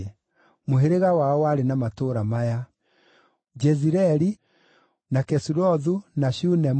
Bũrũri wao warĩ na matũũra maya: Jezireeli, na Kesulothu, na Shunemu,